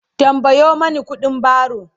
tambayo Mani ƙuɗin baro!